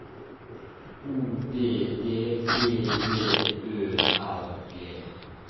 O D D B J Ø R G